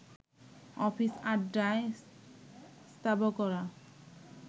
office, আড্ডায় স্তাবকরা